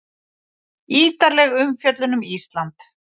Ítarleg umfjöllun um Ísland